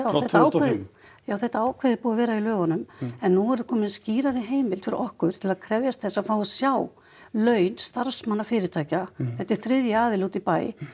og fimm já þetta ákvæði er búið að vera í lögunum en nú er komin skýrari heimild fyrir okkur til að krefjast þess að fá að sjá laun starfsmanna fyrirtækja þetta er þriðji aðili úti í bæ